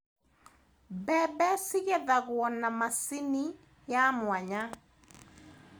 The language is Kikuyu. Mbembe cigethagwo na macini ya mwanya.